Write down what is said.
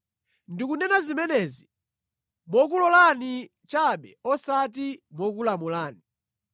Ndikunena zimenezi mokulolani chabe osati mokulamulani.